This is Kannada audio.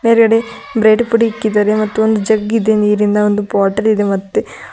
ಎದುರ್ಗಡೆ ಬ್ರೆಡ್ ಪುಡಿ ಇಕ್ಕಿದ್ದಾರೆ ಮತ್ತು ಒಂದು ಜಗ್ ನೀರಿಂದ ಒಂದು ಬಾಟಲ್ ಇದೆ ಮತ್ತೆ--